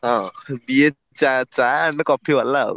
ହଁ BA ଚା ଚା and coffee ବାଲା ଆଉ।